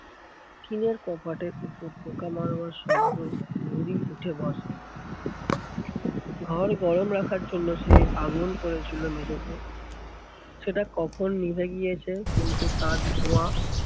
টিনের কপাটের উপর পোকা মারবার শব্দ উঠে বসে। ঘর গরম রাখার জন্য সে আগুন করেছিল মেঝেতে সেটা কখন নিভে গিয়েছে কিন্তু তার ধোঁয়া